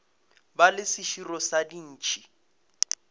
ba le seširo sa dintšhi